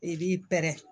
I b'i pɛrɛn